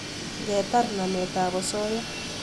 ngetar namet ap osoya